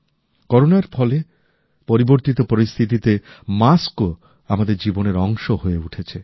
করোনার ফলে পরিবর্তিত পরিস্থিতিতে মাস্কও আমাদের জীবনের অংশ হয়ে উঠেছে